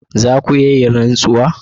Za ku iya yin rantsuwa?